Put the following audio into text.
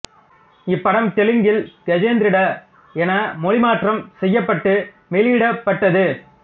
இப்படம் தெலுங்கில் கஜேந்திரட என மொழி மாற்றம் செய்யப்பட்டு வெளியிடப்பட்டது